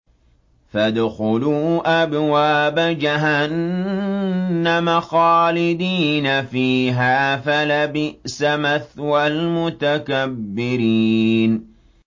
فَادْخُلُوا أَبْوَابَ جَهَنَّمَ خَالِدِينَ فِيهَا ۖ فَلَبِئْسَ مَثْوَى الْمُتَكَبِّرِينَ